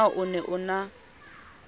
na o ne o na